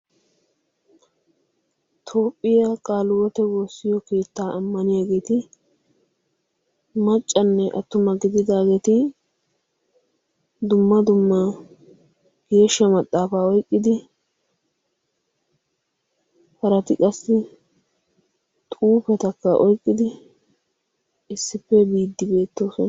Toophphiya Qaaliwoote woossiyo keettaa ammaniyageeti maccanne attuma godidaageeti dumma dumma geeshsha maxaafaa oyiqqidi harati qassi xuufetakka oyqqidi issippe biiddi de'oosona.